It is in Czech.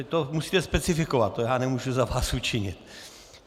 Teď to musíte specifikovat, to já nemůžu za vás učinit.